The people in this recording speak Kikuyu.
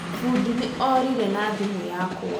Fũdi nĩ orĩre na thimũ yakwa